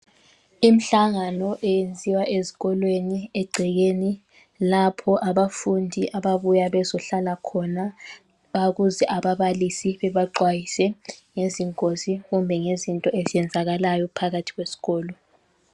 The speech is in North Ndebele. Imhlangano eyenziwa ezikolweni egcekeni lapho abafundi ababuya bezohlala khona babuze ababalisi bebaxwayise ngezingozi kumbe ngezinto ezenzakalayo phakathi kwesikolo.